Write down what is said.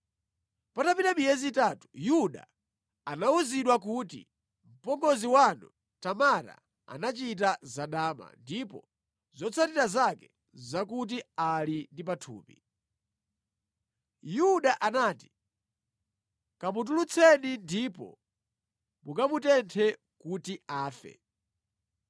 Patapita miyezi itatu, Yuda anawuzidwa kuti, “Mpongozi wanu Tamara anachita zadama, ndipo zotsatira zake nʼzakuti ali ndi pathupi.” Yuda anati, “Kamutulutseni ndipo mukamutenthe kuti afe!”